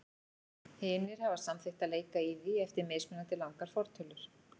Hinir hafa samþykkt að leika í því eftir mismunandi langar fortölur.